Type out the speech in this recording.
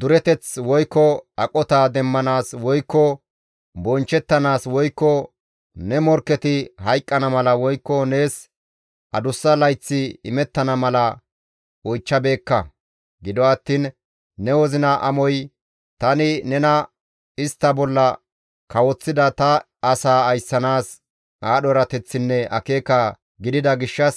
dureteth, woykko aqota demmanaas, woykko bonchchettanaas, woykko ne morkketi hayqqana mala, woykko nees adussa layththi imettana mala oychchabeekka; gido attiin ne wozina amoy tani nena istta bolla kawoththida ta asaa ayssanaas aadho erateththinne akeeka gidida gishshas,